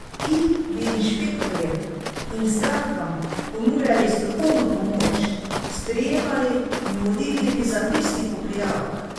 Ti bi inšpektorjem in strankam ponujali strokovno pomoč, sprejemali in vodili bi zapisnik ob prijavah.